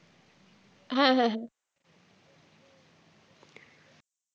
হ্যাঁ, হ্যাঁ, হ্যাঁ।